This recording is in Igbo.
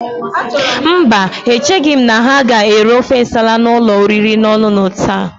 Mba, echeghị m na ha ga-ere ofe Nsala n'ụlọ oriri na ọṅụṅụ taa.